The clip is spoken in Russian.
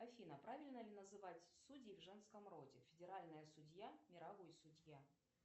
афина правильно ли называть судей в женском роде федеральная судья мировой судья